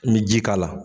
N bɛ ji k'a la